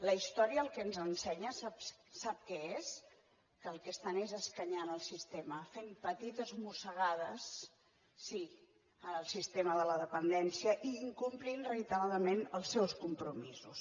la història el que ens ensenya sap què és que el que estan és escanyant el sistema fent petites mossegades sí en el sistema de la dependència i incomplint reiteradament els seus compromisos